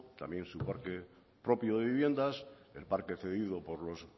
también su parque propio de viviendas el parque cedido por los